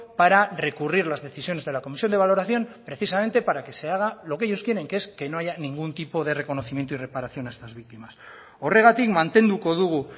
para recurrir las decisiones de la comisión de valoración precisamente para que se haga lo que ellos quieren que es que no haya ningún tipo de reconocimiento y reparación a estas víctimas horregatik mantenduko dugu